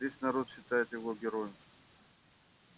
весь народ считает его героем